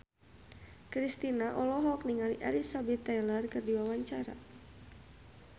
Kristina olohok ningali Elizabeth Taylor keur diwawancara